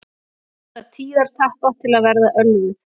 Nota tíðatappa til að verða ölvuð